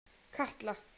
Katla